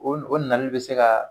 O o nali bɛ se ka